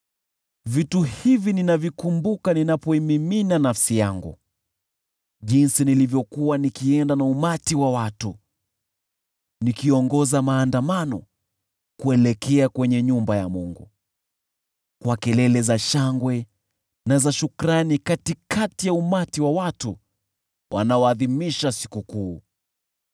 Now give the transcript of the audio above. Mambo haya nayakumbuka ninapoimimina nafsi yangu: Jinsi nilivyokuwa nikienda na umati wa watu, nikiongoza maandamano kuelekea kwenye nyumba ya Mungu, kwa kelele za shangwe na za shukrani katikati ya umati uliosherehekea.